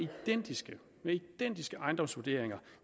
identiske ejendomsvurderinger